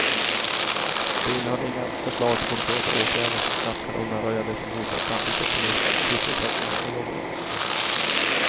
Det innehöll inga förslag till konkreta åtgärder som snabbt kan undanröja det som hotar framtidsoptimismen, sysselsättningen och jobben.